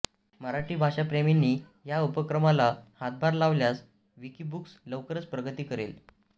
मराठी भाषाप्रेमींनी ह्या उपक्रमाला हातभार लावल्यास विकिबुक्स लवकरच प्रगती करेल